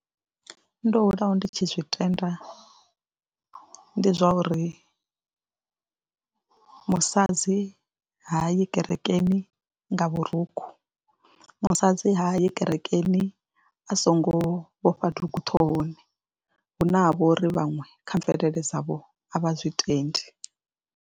Ndo hulaho ndi tshi zwitenda ndi zwa uri musadzi ha yi kerekeni nga vhurukhu, musadzi ha yi kerekeni a songo vhofha dugu ṱhohoni hu ne ha vho ri vhaṅwe kha mvelele dzavho a vha zwi tendi.